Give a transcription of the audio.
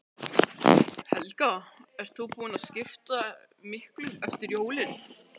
Helga: Ert þú búin að skipta miklu eftir jólin?